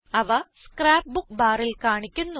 അവ scrapbook ബാറിൽ കാണിക്കുന്നു